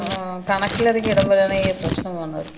ആ, കണക്കിലധികം ഇടുമ്പഴാണ് ഈ പ്രശ്നാവ്ണത്.